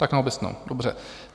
Tak na obecnou, dobře.